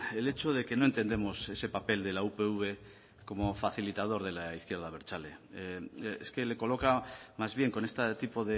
el hecho de que no entendemos ese papel de la upv como facilitador de la izquierda abertzale es que le coloca más bien con este tipo